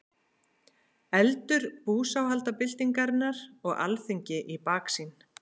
Eldur búsáhaldabyltingarinnar og Alþingi í baksýn.